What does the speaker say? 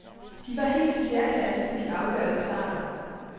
De var helt i særklasse i de altafgørende starter.